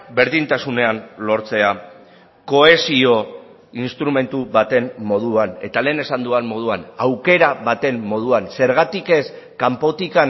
berdintasunean lortzea kohesio instrumentu baten moduan eta lehen esan dudan moduan aukera baten moduan zergatik ez kanpotik